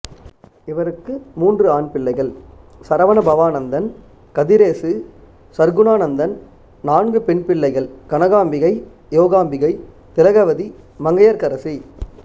இவருக்கு மூன்று ஆண் பிள்ளைகள் சரவணபவானந்தன் கதிரேசு சற்குணானந்தன் நான்கு பெண் பிள்ளைகள் கனகாம்பிகை யோகாம்பிகை திலகவதி மங்கையற்கரசி